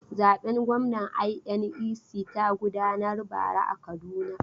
Zaben gwamna INEC ta gudanar bara a Kaduna.